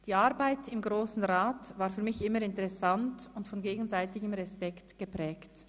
Die Arbeit im Grossen Rat war für mich immer interessant und von gegenseitigem Respekt geprägt.